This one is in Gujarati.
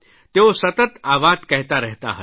તેઓ સતત આ વાત કહેતા રહેતા હતા